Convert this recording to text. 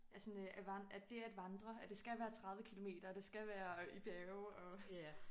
At sådan øh at vandre at dét at vandre at det skal være 30 kilometer og det skal være i bjerge og